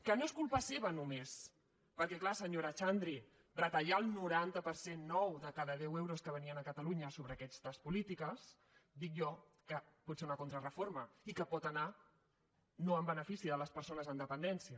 que no és culpa seva només perquè és clar senyora xandri retallar el noranta per cent nou de cada deu euros que venien a catalunya sobre aquestes polítiques dic jo que pot ser una contrareforma i que pot anar no en benefici de les persones amb dependència